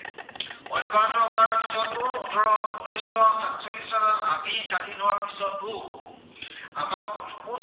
অব্য়াহত হোৱাৰ পিছতো ওঠৰশ, উনৈছ শ সাতচল্লিশ চনত আমি স্বাধীন হোৱাৰ পিছতো আমাৰ